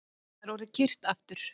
Það er orðið kyrrt aftur